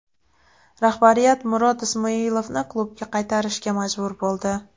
Rahbariyat Murod Ismoilovni klubga qaytarishga majbur bo‘ldi.